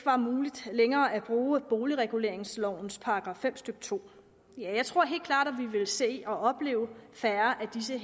længere at bruge boligreguleringslovens § fem stykke 2 jeg tror helt klart at vi ville se og opleve færre af disse